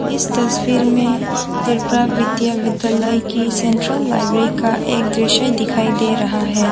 इस तस्वीर में त्रिपुरा विद्या विद्यालय की सेंट्रल लाइब्रेरी का एक दृश्य दिखाई दे रहा है।